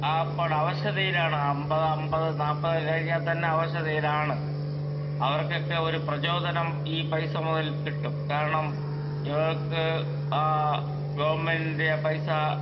speaker 2 അപ്പാടെ അവശതയിലാണ് അമ്പത് അമ്പത് നാല്പത് കഴിഞ്ഞാൽ തന്നെ അവശതയിലാണ് അവർക്കൊക്കെ ഒരു പ്രചോദനം ഈ പൈസ മുതൽ കിട്ടും കാരണം ഇവർക്ക് ആ ഗവൺമെൻറ്റിന്റെ പൈസ